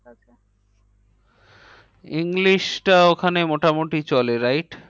English টা ওখানে মোটামুটি চলে right